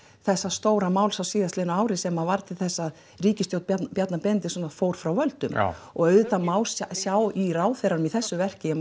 þessara stóra máls á síðastliðnu ári sem varð til þess að ríkisstjórn Bjarna Bjarna Benediktsson fór frá völdum auðvitað má sjá í ráðherranum í þessu verki